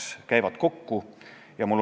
Madis Milling Reformierakonna fraktsiooni nimel.